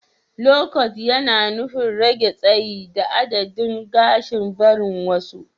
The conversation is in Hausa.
lowcat yana nufin rage tsayi da adadin gashin barin wasu.